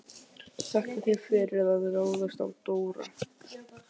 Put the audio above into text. Þakka þér fyrir að ráðast á Dóra.